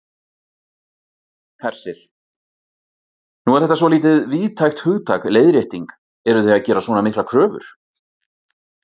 Hersir: Nú er þetta svolítið víðtækt hugtak, leiðrétting, eruð þið að gera svona miklar kröfur?